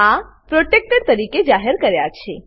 આ protected protected તરીકે જાહેર કરાયા છે